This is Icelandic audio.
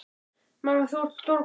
Mamma, þú ert stórglæsileg í honum.